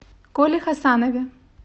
коле хасанове